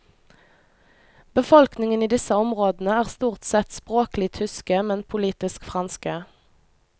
Befolkningen i disse områdene er stort sett språklig tyske, men politisk franske.